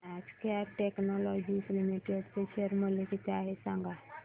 आज Cat Technologies Limited चे share चे मूल्य किती आहे सांगा